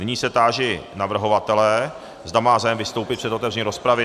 Nyní se táži navrhovatele, zda má zájem vystoupit před otevřením rozpravy.